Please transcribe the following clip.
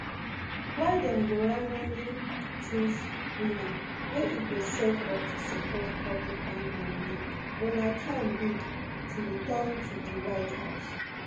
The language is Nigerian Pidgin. wey dem go randomly choose winner wey e go set up to support republican nominee donald trump bid to return to di white house